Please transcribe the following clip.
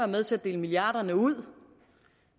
med til at dele milliarderne ud